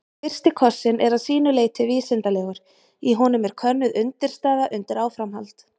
Fyrsti kossinn er að sínu leyti vísindalegur, í honum er könnuð undirstaða undir áframhald.